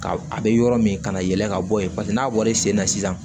Ka a be yɔrɔ min ka na yɛlɛ ka bɔ yen paseke n'a bɔlen sen na sisan